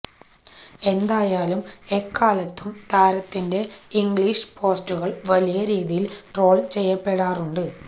എന്തായാലും എക്കാലത്തും താരത്തിന്റെ ഇംഗ്ലീഷ് പോസ്റ്റുകള് വലിയ രീതിയില് ട്രോള് ചെയ്യപ്പെടാറുണ്ട്